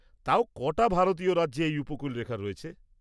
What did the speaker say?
-তাও, ক'টা ভারতীয় রাজ্যে এই উপকূলরেখা রয়েছে?